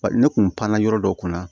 Bari ne kun panna yɔrɔ dɔ kunna